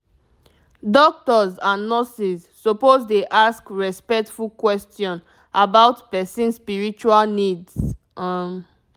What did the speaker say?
doctors and nurses suppose dey ask respectful question about person spiritual needs um